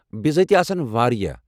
بزٲتی، آسَن واریاہ۔